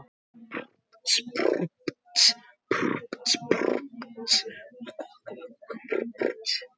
Margt hrófatildrið hefur þér verið reist af drýldninni einni saman.